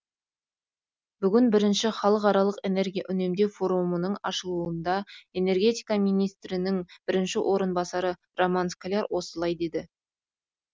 бүгін бірінші халықаралық энергия үнемдеу форумының ашылуында энергетика министрінің бірінші орынбасары роман скляр осылай деді